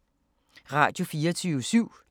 Radio24syv